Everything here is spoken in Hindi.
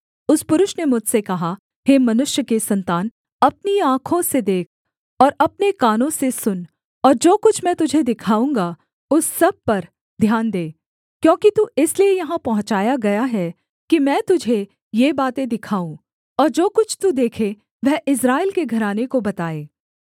उस पुरुष ने मुझसे कहा हे मनुष्य के सन्तान अपनी आँखों से देख और अपने कानों से सुन और जो कुछ मैं तुझे दिखाऊँगा उस सब पर ध्यान दे क्योंकि तू इसलिए यहाँ पहुँचाया गया है कि मैं तुझे ये बातें दिखाऊँ और जो कुछ तू देखे वह इस्राएल के घराने को बताए